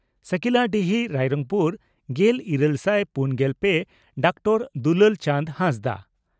ᱥᱟᱹᱠᱤᱞᱟᱰᱤᱦᱤ ᱨᱟᱭᱨᱚᱝᱯᱩᱨ᱾ᱜᱮᱞ ᱤᱨᱟᱹᱞ ᱥᱟᱭ ᱯᱩᱱᱜᱮᱞ ᱯᱮ ᱹ ᱰᱚᱠᱴᱚᱨ ᱫᱩᱞᱟᱞ ᱪᱟᱸᱫᱽ ᱦᱟᱸᱥᱫᱟᱜ